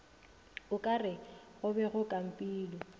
okare go be go kampilwe